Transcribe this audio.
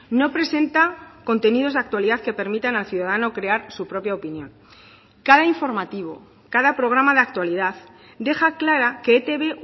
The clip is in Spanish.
no presenta contenidos de actualidad que permitan al ciudadano crear su propia opinión cada informativo cada programa de actualidad deja clara que etb